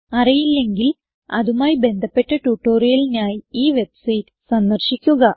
അറിയില്ലെങ്കിൽ അതുമായി ബന്ധപ്പെട്ട ട്യൂട്ടോറിയലിനായി ഈ വെബ്സൈറ്റ് സന്ദർശിക്കുക